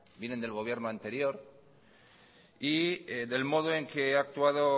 vienen del gobierno anterior y del modo en que ha actuado